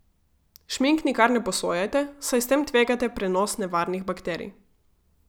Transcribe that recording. Šmink nikar ne posojajte, saj s tem tvegate prenos nevarnih bakterij.